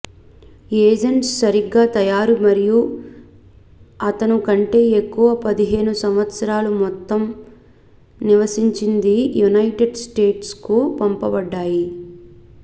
agents సరిగ్గా తయారు మరియు అతను కంటే ఎక్కువ పదిహేను సంవత్సరాల మొత్తం నివసించింది యునైటెడ్ స్టేట్స్ కు పంపబడ్డాయి